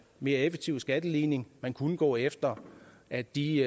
mere effektiv skatteligning man kunne gå efter at de